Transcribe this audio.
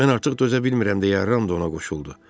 Mən artıq dözə bilmirəm deyə Ram da ona qoşuldu.